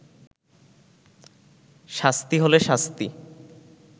শাস্তি হলে শাস্তি